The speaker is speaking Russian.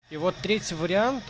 и вот третий вариант